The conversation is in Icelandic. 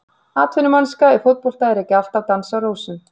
Atvinnumennska í fótbolta er ekki alltaf dans á rósum.